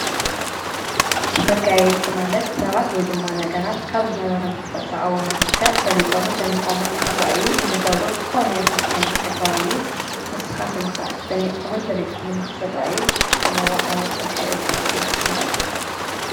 መጋየፂ ማለት ሰባት ወይ ድማ ነገራት ካብ ዝነበሮም ተፈጥራዊ መልክዕ በሊፆምን ደሚቖምን ንኽራኣዩ እንገብሮ ዝኾነ ይኹን ዓይነት ተግባር እዩ ንስኻትኩምከ ደሚቕኩምን በሊፅኩምን ንኽትርኣዩ ትጥቆምዎ ዓይነት መጋየፂ ኣለኩምዶ ?